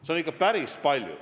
Seda on ikka päris palju.